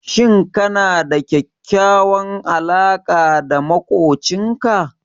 Shin kana da kyakkyawar alaƙa da maƙocinka?